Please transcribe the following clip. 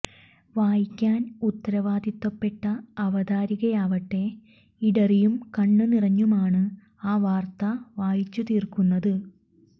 വായിക്കാൻ ഉത്തരവാദിത്വപ്പെട്ട അവതാരികയാവട്ടെ ഇടറിയും കണ്ണു് നിറഞ്ഞുമാണ് ആ വാർത്ത വായിച്ചു തീർക്കുന്നത്